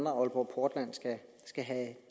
at aalborg portland